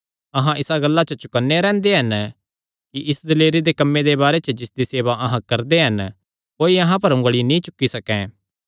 अहां इसा गल्ला च चौकन्ने रैंह्दे हन कि इस दिलेरी दे कम्मे दे बारे च जिसदी सेवा अहां करदे हन कोई अहां पर उंगली नीं चुक्की सकैं